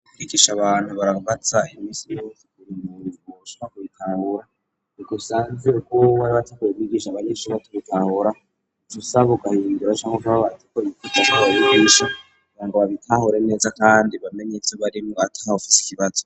Mukwigisha abantu barabaza imisi yose ku muntu ashobora kubitahura niko asanze kubo bari bicaranye biga abanyeshure batabitahura cusaba ugahindura canke ugaca abigisha kugira ngo babitahure neza kandi bamenye ivyo barimwo atahufise ikibazo